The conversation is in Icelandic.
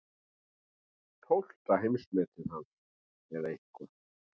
Tólfta heimsmetið hans eða eitthvað.